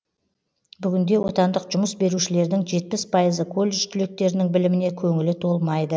бүгінде отандық жұмыс берушілердің жетпіс пайызы колледж түлектерінің біліміне көңілі толмайды